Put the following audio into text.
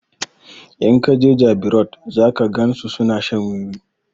In ka jeJabi road zaka gan su suna shan wiwi